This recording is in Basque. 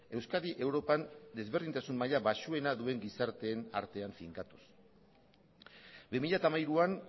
euskadi europan desberdintasun maila baxuena duen gizarteen artean finkatuz bi mila hamairuan